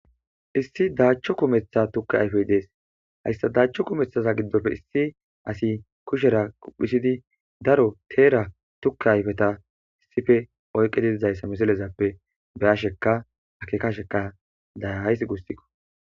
Issi daachcho kumeththa tukke ayfey dees hayssa daachcho kumeththaza giddofe issi asi kushera quphisidi daro teera tukke ayfeta sife oyqidiizayssa misilezappe beyasheka akekasheka dayahays gussikqo.